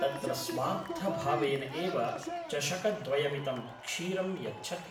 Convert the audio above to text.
तत्र स्वार्थभावेन एव चषकद्वयमितं क्षीरं यच्छति